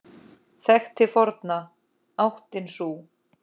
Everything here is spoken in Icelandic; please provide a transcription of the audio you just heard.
Þekkt til forna áttin sú.